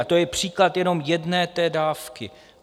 A to je příklad jenom jedné té dávky.